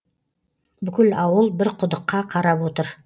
бүкіл ауыл бір құдыққа қарап отыр